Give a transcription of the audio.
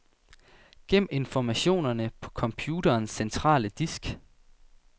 Gem informationerne på computerens centrale disk.